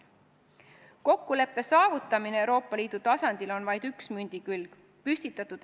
Kokkuleppe saavutamine Euroopa Liidu tasandil on vaid üks mündi külgi.